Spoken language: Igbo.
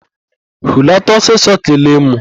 Hulata ọsịsọ kelee mụ!